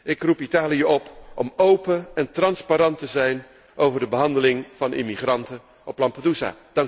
Ik roep Italië op om open en transparant te zijn over de behandeling van immigranten op Lampedusa.